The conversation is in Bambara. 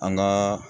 An gaa